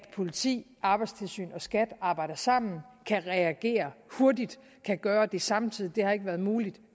politiet arbejdstilsynet og skat arbejder sammen kan reagere hurtigt kan gøre det samtidig det har ikke været muligt